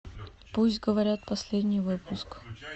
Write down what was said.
пусть говорят последний выпуск